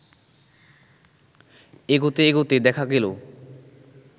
এগোতে এগোতে দেখা গেলো